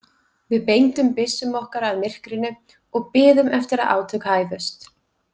Við beindum byssum okkar að myrkrinu og biðum eftir að átök hæfust.